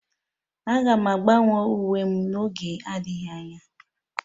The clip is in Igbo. Aga m agbanwe uwe m n'oge adịghị anya